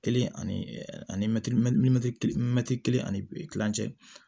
Kelen ani ani kelen ani kilancɛ